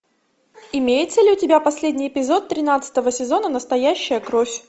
имеется ли у тебя последний эпизод тринадцатого сезона настоящая кровь